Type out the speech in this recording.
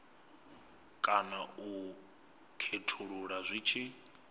kana u khethulula zwi tshi